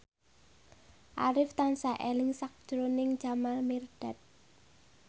Arif tansah eling sakjroning Jamal Mirdad